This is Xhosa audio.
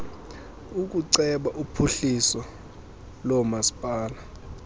ukuceba uphuhliso lomasipala